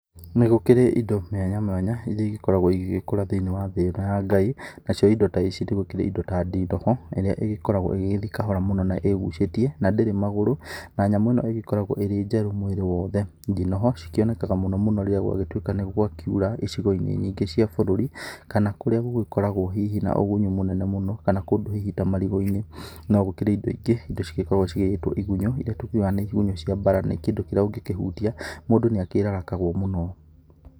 Nĩgũkĩrĩ indo mĩanya mwanya, iria igĩkoragwo igĩgĩkũra thĩini-ĩ wa thĩ ĩno ya Ngai. Nacio indo ta ici nĩgũkĩre indo ta ndinoho, ĩrĩa ĩgĩkoragwo ĩgĩgĩthi kahora mũno na ĩgucĩtie. Na ndĩrĩ magũrũ, na nyamũ ĩno ĩgĩkoragwo ĩrĩ njerũ mwĩrĩ wothe. Ndinoho cikĩoneka mũno mũno rĩrĩa gwagĩgĩtwĩka nĩgwakiura icigo-inĩ nyingĩ cia bũrũri kana kũrĩa gũgĩkoragwo hihi na ũgunyu mũnene mũno, kana kũndũ hihi ta marigũ-inĩ. No gũkĩrĩ indo ingĩ, indo cigĩkoragwo cigĩgĩtwo igunyũ, iria tũkiugaga nĩ igunyũ cia mbara, nĩ kĩndũ kĩrĩa ũngĩkĩhutia, mũndũ nĩakĩrarakagwo mũno.